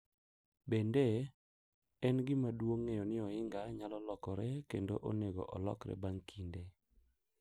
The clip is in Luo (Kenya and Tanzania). Bende, en gima duong’ ng’eyo ni ohinga nyalo lokore kendo onego olokre bang’ kinde.